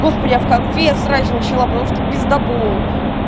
господи а в конфе я срач начала потому что пиздабол